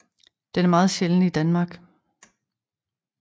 Den er meget sjælden i Danmark